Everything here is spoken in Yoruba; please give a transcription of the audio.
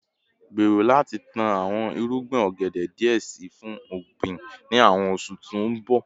Gbero lati tan awọn irugbin ogede diẹ sii fun ogbin ni awọn oṣu ti n bọ